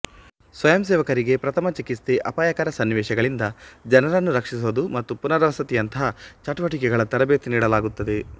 ಸ್ವಯಂಸೇವಕರಿಗೆ ಪ್ರಥಮ ಚಿಕಿತ್ಸೆ ಅಪಾಯಕರ ಸನ್ನಿವೇಶಗಳಿಂದ ಜನರನ್ನು ರಕ್ಷಿಸುವದು ಮತ್ತು ಪುನರ್ವಸತಿಯಂತಹ ಚಟುವಟಿಕೆಗಳ ತರಭೇತಿ ನೀಡಲಾಗುತ್ತದೆ